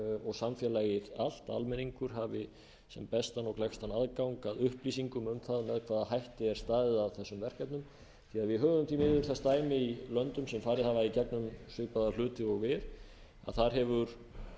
og samfélagið allt almenningur hafi sem bestan og gleggstan aðgang að upplýsingum um það með hvaða hætti er staðið að þessum verkefnum við höfum því miður þess dæmi í löndum sem farið hafa í gegnum svipaða hluti og við að þar hefur